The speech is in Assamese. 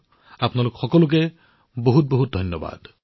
আপোনালোক সকলোকে অশেষ ধন্যবাদ